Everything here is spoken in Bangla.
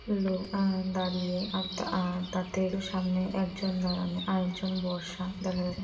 লোক আহ দাঁড়িয়ে আহ আহ তা তার থেকে একটু সামনে একজন দাঁড়ানো আর একজন বসা দেখা যাচ্ছে।